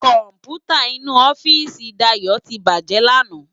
Kòmpútá inú òfìsí Dayo ti bájè làná